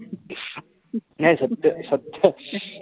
नाई सत्य सत्य,